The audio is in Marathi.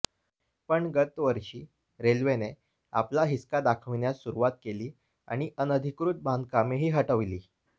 पण गतवर्षी रेल्वेने आपला हिसका दाखविण्यास सुरुवात केली आणि अनधिकृत बांधकामेही हटविली